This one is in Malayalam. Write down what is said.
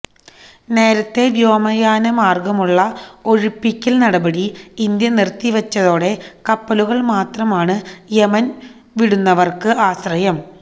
നേരത്തെ വ്യോമയാന മാർഗമുള്ള ഒഴിപ്പിക്കൽ നടപടി ഇന്ത്യ നിർത്തി വച്ചതോടെ കപ്പലുകൾ മാത്രമാണ് യമൻ വിടുന്നവർക്ക് ആശ്രയം